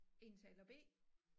Indtaler B